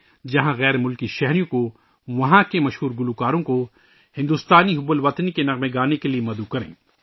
جہاں غیر ملکی شہریوں کو ، وہاں کے مشہور گلوکاروں کو بھارتی حب الوطنی کے گیت گانے کے لئے مدعو کریں